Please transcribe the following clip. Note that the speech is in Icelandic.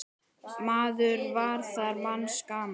Maður var þar manns gaman.